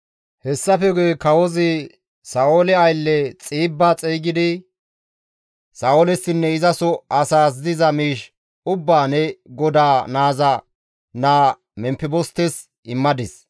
Hessafe guye kawozi Sa7oole aylle Xiibba xeygidi, «Sa7oolessinne izaso asaas diza miish ubbaa ne godaa naaza naa Memfebostes immadis.